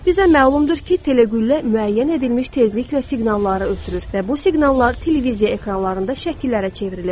Bizə məlumdur ki, teleqüllə müəyyən edilmiş tezliklə siqnalları ötürür və bu siqnallar televiziya ekranlarında şəkillərə çevrilir.